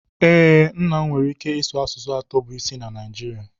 ee, nna m nwere ike ịsụ asụsụ atọ bụ isi na Naijirịa